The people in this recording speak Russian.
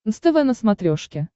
нств на смотрешке